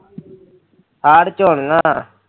ਹਾੜ ਚ ਹੋਣੀਆਂ